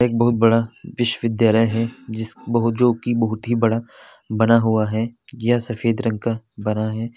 एक बहुत बड़ा विश्वविद्यालय है जिस जोकी बहुत ही बड़ा बना हुआ है यह सफेद रंग का बना है।